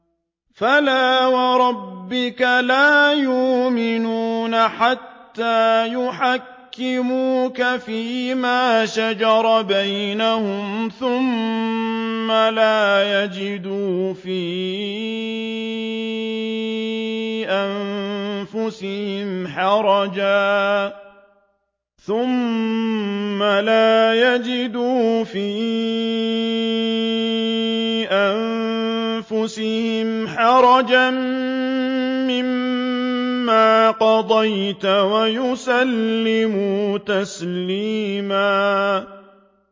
فَلَا وَرَبِّكَ لَا يُؤْمِنُونَ حَتَّىٰ يُحَكِّمُوكَ فِيمَا شَجَرَ بَيْنَهُمْ ثُمَّ لَا يَجِدُوا فِي أَنفُسِهِمْ حَرَجًا مِّمَّا قَضَيْتَ وَيُسَلِّمُوا تَسْلِيمًا